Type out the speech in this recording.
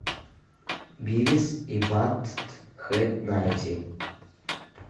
бивис и батхед найти